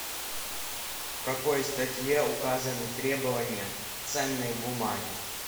в какой статье указаны требования ценной бумаги